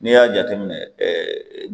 N'i y'a jate minɛ